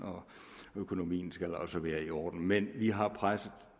økonomien skal også være i orden men vi har